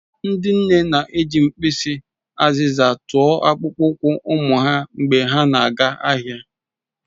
Ndị nne na-eji mkpịsị azịza tụọ akpụkpọ ụkwụ ụmụ ha mgbe ha na-aga ahịa.